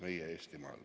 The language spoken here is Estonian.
Aitäh!